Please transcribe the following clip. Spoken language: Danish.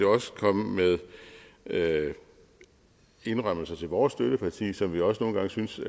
komme med indrømmelser til vores støtteparti som vi også nogle gange syntes